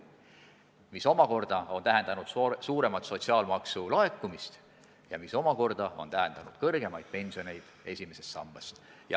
Ja see omakorda on tähendanud enamat sotsiaalmaksu laekumist ja seega ka suuremaid pensioneid esimeses sambas.